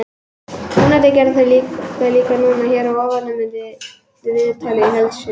Vonandi gera þeir það líka núna. Hér að ofan má sjá viðtalið í heild sinni.